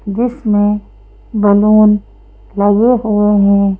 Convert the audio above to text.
जिसमें बलून लगे हुए हैं।